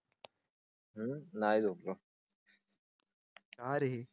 हम्म नाही झोपलो. आरे.